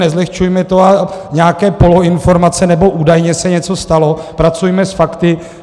Nezlehčujme to a nějaké poloinformace nebo údajně se něco stalo - pracujme s fakty!